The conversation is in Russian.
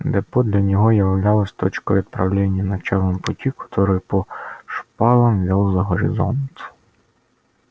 депо для него являлось точкой отправления началом пути который по шпалам вёл за горизонт